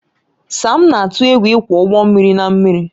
Sam na-atụ egwu ịkwọ ụgbọ mmiri na mmiri